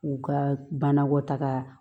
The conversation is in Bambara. U ka banakɔtaga